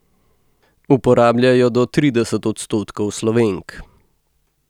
Uporablja jo do trideset odstotkov Slovenk.